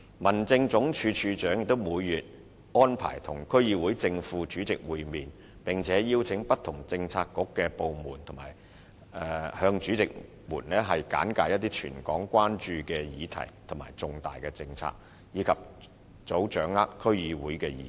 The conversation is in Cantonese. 民政總署署長也會每月安排與區議會正、副主席會面，並邀請不同政策局及部門向主席們簡介一些全港關注的議題和重大政策，以及早掌握區議會的意見。